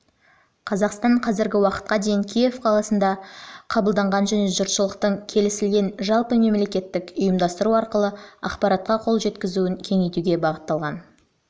қазақстан қазіргі уақытқа дейін киев қаласында жылы қабылданған және жұртшылықтың келісілген жалпымемлекеттік ұйымдастыру арқылы ақпаратқа қол жеткізуін кеңейтуге бағытталған